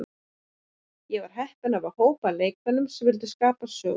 Ég er heppinn að hafa hóp af leikmönnum sem vilja skapa söguna.